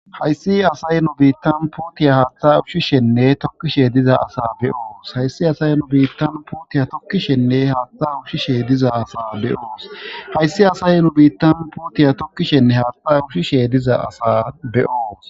hayssi asay nu biittan putiya haatta ushshishenne tokkishe diza asa beyoos hayssi asay nu biittan putiya tokkishenne haatta ushshishe diza asa beyoos hayssi asay nu biittan putiya tokkishenne haatta ushshishe diza asa beyoos